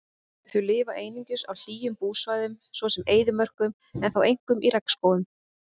Þau lifa einungis á hlýjum búsvæðum svo sem eyðimörkum en þó einkum í regnskógum.